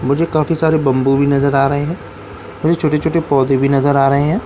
मुझे काफी सारे बम्बू भी नजर आ रहे हैं मुझे छोटे-छोटे पौधे भी नज़र आ रहे हैं।